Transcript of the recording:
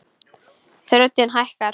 Röddin hækkar.